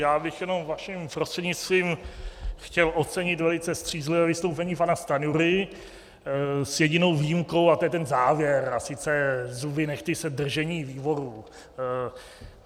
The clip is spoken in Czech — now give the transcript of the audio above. Já bych jenom vaším prostřednictvím chtěl ocenit velice střízlivé vystoupení pana Stanjury s jedinou výjimkou, a to je ten závěr, a sice zuby nehty se držení výboru.